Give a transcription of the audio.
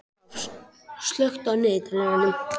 Lofn, slökktu á niðurteljaranum.